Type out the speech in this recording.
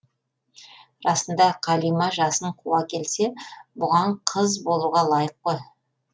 расында қалима жасын қуа келсе бұған қыз болуға лайық қой